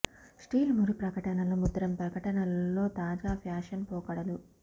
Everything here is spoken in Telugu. స్టీల్ మురి ప్రకటనలు ముద్రణ ప్రకటనలు లో తాజా ఫ్యాషన్ పోకడలు